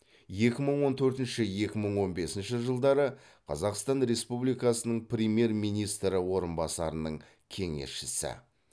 екі мың он төртінші екі мың он бесінші жылдары қазақстан республикасының премьер министрі орынбасарының кеңесшісі